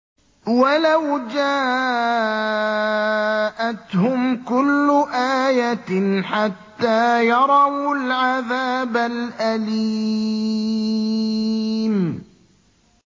وَلَوْ جَاءَتْهُمْ كُلُّ آيَةٍ حَتَّىٰ يَرَوُا الْعَذَابَ الْأَلِيمَ